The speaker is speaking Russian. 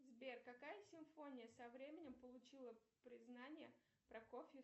сбер какая симфония со временем получила признание прокофьев